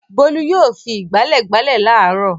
Bólú yóò fi ìgbálẹ̀ gbálẹ̀ láàárọ̀.